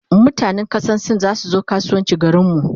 mutanan kasan sin zasu zo kasuwanci garinmu